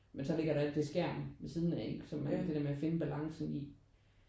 Men så ligger der alt det skærm ved siden af ikke og alt det der med at finde balancen i